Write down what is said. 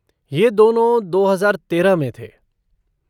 ये दोनों दो हजार तेरह में थे।